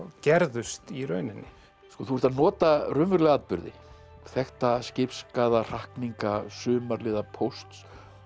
gerðust í rauninni þú ert að nota raunverulega atburði þekkta skipsskaða hrakninga Sumarliða pósts